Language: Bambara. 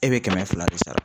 E bɛ kɛmɛ fila de sara.